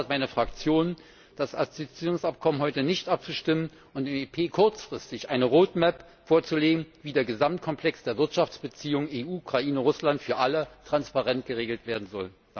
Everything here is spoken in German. Deshalb fordert meine Fraktion, das Assoziierungsabkommen heute nicht abzustimmen und dem EP kurzfristig eine Roadmap vorzulegen, wie der Gesamtkomplex der Wirtschaftsbeziehungen EU Ukraine Russland für alle transparent geregelt werden soll.